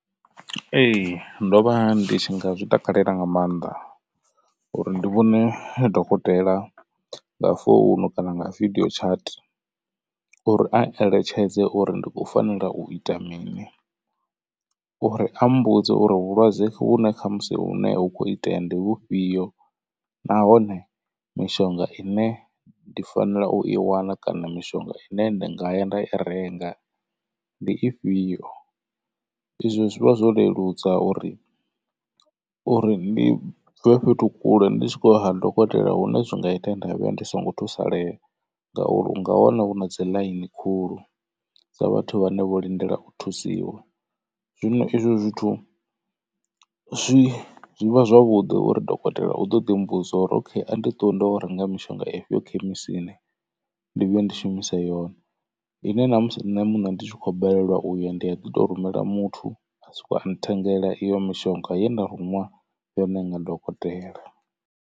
Ee ndo vha ndi tshi nga zwi takalela nga maanḓa uri ndi vhone dokotela nga founu kana nga video chat uri a eletshedze uri ndi khou fanela u ita mini. Uri a mbudze uri vhulwadze vhune khamusi hune hu kho itea ndi vhufhio nahone mishonga ine ndi fanela u i wana kana mishonga ine ndi nga ya nda i renga ndi ifhio. I zwo zwivha zwo leludza uri uri ndi bve fhethu kule ndi tshi khou ya ha dokotela hune zwi nga ita ye nda vhuya ndi songo thusalea ngauri u nga wana hu na dzi ḽaini khulu. Dza vhathu vhane vho lindela u thusiwa zwino izwo zwithu zwi zwi vha zwavhuḓi uri dokotela u ḓo ḓi mbudza uri okay a ndi ṱuwe ndi yo renga mishonga ifhio khemisini ndi vhuye ndi shumise yone. I ne na musi nṋe muṋe ndi tshi khou balelwa uya ndi a ḓi to rumela muthu a soko nthengela iyo mishonga ye nda ruṅwa yone nga dokotela.